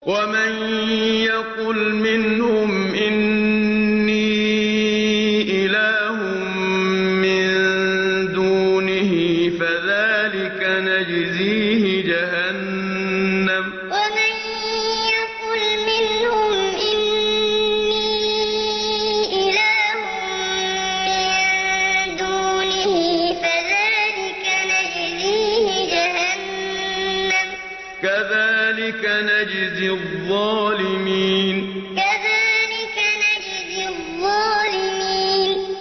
۞ وَمَن يَقُلْ مِنْهُمْ إِنِّي إِلَٰهٌ مِّن دُونِهِ فَذَٰلِكَ نَجْزِيهِ جَهَنَّمَ ۚ كَذَٰلِكَ نَجْزِي الظَّالِمِينَ ۞ وَمَن يَقُلْ مِنْهُمْ إِنِّي إِلَٰهٌ مِّن دُونِهِ فَذَٰلِكَ نَجْزِيهِ جَهَنَّمَ ۚ كَذَٰلِكَ نَجْزِي الظَّالِمِينَ